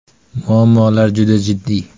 Muammolar juda jiddiy.